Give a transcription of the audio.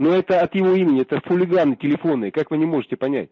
ну это от его имени это хулиганы телефонные как вы не можете понять